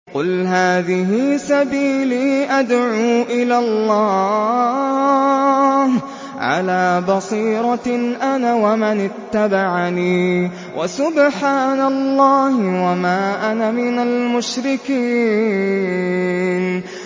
قُلْ هَٰذِهِ سَبِيلِي أَدْعُو إِلَى اللَّهِ ۚ عَلَىٰ بَصِيرَةٍ أَنَا وَمَنِ اتَّبَعَنِي ۖ وَسُبْحَانَ اللَّهِ وَمَا أَنَا مِنَ الْمُشْرِكِينَ